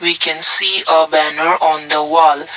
we can see a banner on the wall.